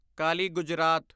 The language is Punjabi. ਕਾਲੀ ਗੁਜਰਾਤ